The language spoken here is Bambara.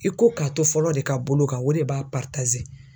I ko k'a to fɔlɔ de ka bolo kan o de b'a .